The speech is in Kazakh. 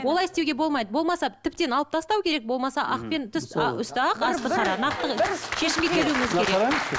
олай істеуге болмайды болмаса тіптен алып тастау керек болмаса ақ пен түс үсті ақ асты қара нақты шешімге келуіміз керек